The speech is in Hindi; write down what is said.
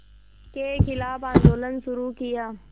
के ख़िलाफ़ आंदोलन शुरू किया